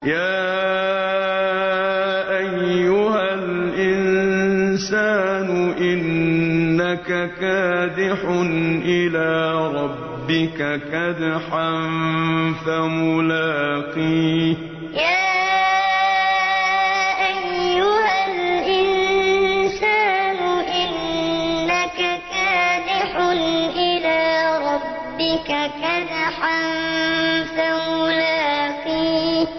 يَا أَيُّهَا الْإِنسَانُ إِنَّكَ كَادِحٌ إِلَىٰ رَبِّكَ كَدْحًا فَمُلَاقِيهِ يَا أَيُّهَا الْإِنسَانُ إِنَّكَ كَادِحٌ إِلَىٰ رَبِّكَ كَدْحًا فَمُلَاقِيهِ